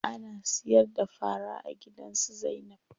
Ana siyar da fara a gidan su Zainab.